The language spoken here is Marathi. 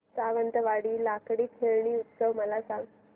सावंतवाडी लाकडी खेळणी उत्सव मला सांग